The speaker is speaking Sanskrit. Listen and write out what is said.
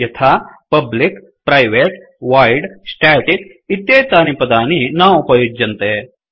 यथा पब्लिक प्रिवते वोइड् स्टेटिक इत्येतानि पदानि न उपयुज्यन्ते